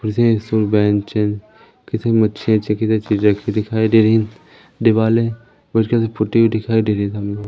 अच्छे अच्छे चीजें रखी दिखाई दे रही दिवालें व्हाइट कलर से पुती हुई दिखाई दे रही सामने--